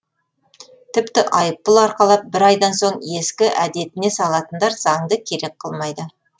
тіпті айыппұл арқалап бір айдан соң ескі әдетіне салатындар заңды керек қылмайды